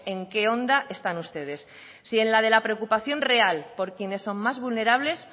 en qué onda están ustedes si en la de la preocupación real por quienes son más vulnerables